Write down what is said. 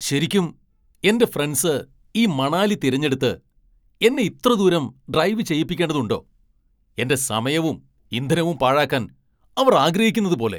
ശരിക്കും , എന്റെ ഫ്രണ്ട്സ് ഈ മണാലി തിരഞ്ഞെടുത്ത് എന്നെ ഇത്ര ദൂരം ഡ്രൈവ് ചെയ്യിപ്പിക്കേണ്ടതുണ്ടോ ? എന്റെ സമയവും ഇന്ധനവും പാഴാക്കാൻ അവർ ആഗ്രഹിക്കുന്നതുപോലെ!